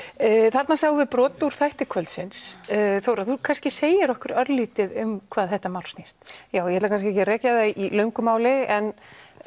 þarna sjáum við brot úr þætti kvöldsins Þóra þú kannski segir okkur örlítið um hvað þetta mál snýst já ég ætla kannski ekki að rekja það í löngu máli en